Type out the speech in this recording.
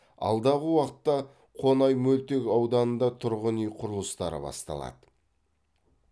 алдағы уақытта қонай мөлтек ауданында тұрғын үй құрылыстары басталады